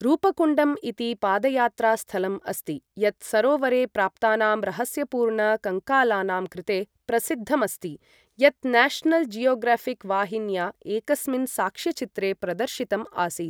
रूपकुण्डम् इति पदयात्रास्थलम् अस्ति, यत् सरोवरे प्राप्तानां रहस्यपूर्ण कङ्कालानां कृते प्रसिद्धम् अस्ति, यत् न्याशनल् जियोग्राऴिक् वाहिन्या एकस्मिन् साक्ष्यचित्रे प्रदर्शितम् आसीत्।